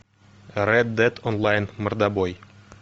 ред дед онлайн мордобой